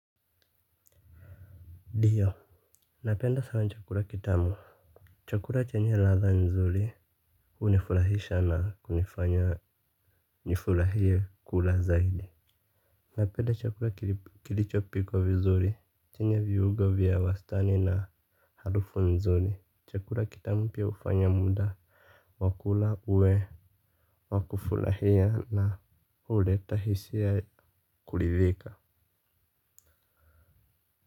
Ndiyo. Napenda sana chakula kitamu. Chakura chenye latha nzuri unifurahisha na kunifanya nifurahie kula zaidi. Napenda chakula kilicho pikwa vizuri. Chenye viungo vya wastani na harufu nzuri chakura kitamu pia ufanya muda wa kula uwe wa kufurahia na uleta hisia kulithika.